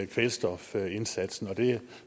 kvælstofindsatsen det